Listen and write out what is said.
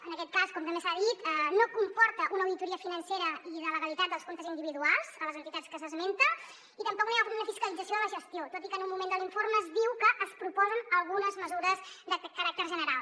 en aquest cas com també s’ha dit no comporta una auditoria financera i de legalitat dels comptes individuals a les entitats que s’esmenten i tampoc no hi ha una fiscalització de la gestió tot i que en un moment de l’informe es diu que es proposen algunes mesures de caràcter general